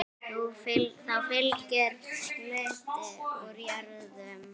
Þá fylgir hluti úr jörðum.